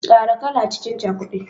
Kara kala cikin cakudan.